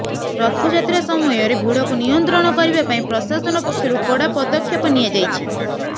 ରଥଯାତ୍ରା ସମୟରେ ଭିଡକୁ ନିୟନ୍ତ୍ରଣ କରିବା ପାଇଁ ପ୍ରଶାସନ ପକ୍ଷରୁ କଡା ପଦକ୍ଷେପ ନିଆଯାଇଛି